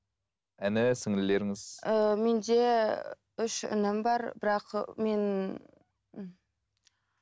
іні сіңлілеріңіз ііі менде үш інім бар бірақ мен і